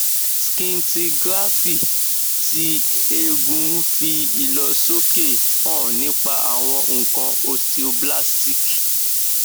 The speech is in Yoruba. scintigraphy ti egun fi ilosoke han nipa awon nkan osteoblastic